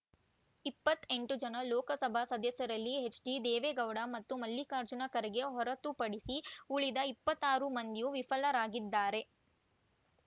ಇಪ್ಪತ್ತ್ ಎಂಟು ಜನ ಲೋಕಸಭಾ ಸದಸ್ಯರಲ್ಲಿ ಎಚ್‌ಡಿ ದೇವೇಗೌಡ ಮತ್ತು ಮಲ್ಲಿಕಾರ್ಜುನ ಖರ್ಗೆ ಹೊರತುಪಡಿಸಿ ಉಳಿದ ಇಪ್ಪತ್ತ್ ಆರು ಮಂದಿಯೂ ವಿಫಲರಾಗಿದ್ದಾರೆ